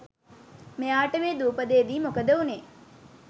මෙයාට මේ දූපතේදි මොකද වුනේ